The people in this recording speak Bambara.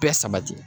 Bɛɛ sabati